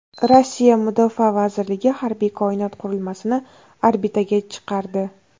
Rossiya mudofaa vazirligi harbiy koinot qurilmasini orbitaga chiqardi.